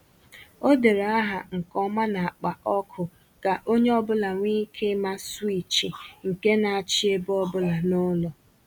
O dere aha nke ọma n’akpa ọkụ ka onye ọbụla nwee ike ịma swịchị nke na-achị ebe ọ bụla n’ụlọ